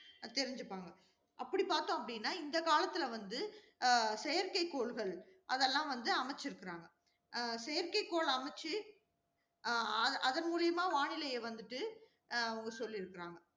தெரிஞ்சுப்பாங்க. அப்படி பார்த்தோம் அப்படின்னா இந்த காலத்தில வந்து அஹ் செயற்கைக்கோள்கள், அதெல்லாம் வந்து அமைச்சிருக்கறாங்க. அஹ் செயற்கைக்கோள் அமைச்சு, அஹ் அதன் மூலமா வானிலையை வந்திட்டு அஹ் அவங்க சொல்லியிருக்கிறாங்க